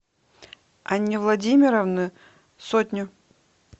анне владимировне сотню